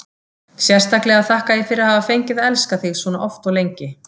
Sérstaklega þakka ég fyrir að hafa fengið að elska þig svona oft og lengi.